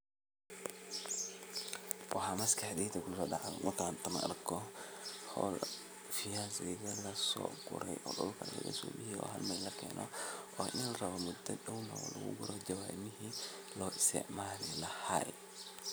Wxa maskaxdeyda kuso dacde tan markan hol fiyasiga ini laso gure o dulka lagasobixiye oo halmel lakeno o inlarabo muda down inlagu gure jawamihi loisticmali lahay